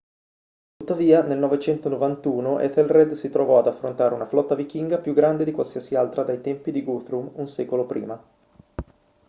tuttavia nel 991 ethelred si trovò ad affrontare una flotta vichinga più grande di qualsiasi altra dai tempi di guthrum un secolo prima